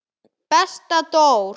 Besta Dór.